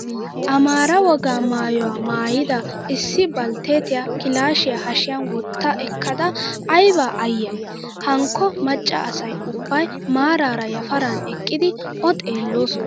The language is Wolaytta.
Amaara wogaa maayyuwaa maayyida issi baltteetiyaa kilaashiyaa hashiyan wotta ekkada ayiba ayyayi. Hankko macca asayi ubbayi maaraara yaparan eqqidi O xeelloosona.